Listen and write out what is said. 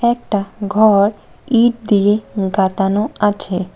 একটা ঘর ইট দিয়ে গাতানো আছে।